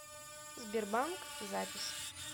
сбербанк запись